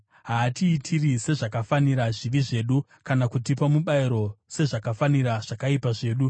haatiitiri sezvakafanira zvivi zvedu, kana kutipa mubayiro sezvakafanira zvakaipa zvedu.